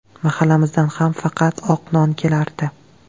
Mahallamizdan ham faqat oq non kelardi.